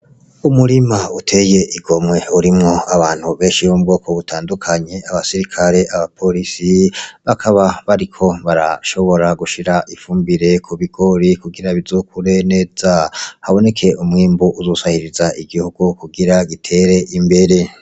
Umurima uteye igomwe urimwo abantu benshi bo mu bwoko butandukanye abasirikare, aba porisi bakaba bariko barashonora gushira ifumbire kubigori kugira bizokure neza haboneke umwimbu uzosahiriza igihugu kugira gitere imbere.